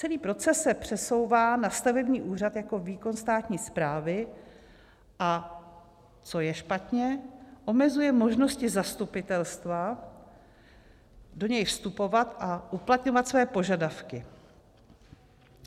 Celý proces se přesouvá na stavební úřad jako výkon státní správy, a co je špatně, omezuje možnosti zastupitelstva do něj vstupovat a uplatňovat svoje požadavky.